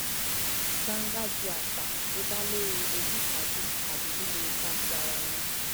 gbangba ju àṣà tó dá lórí ojúṣàájú tàbí lílo ipa ti ara ẹni